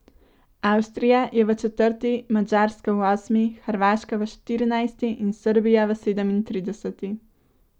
Avstrija je v četrti, Madžarska v osmi, Hrvaška v štirinajsti in Srbija v sedemintrideseti.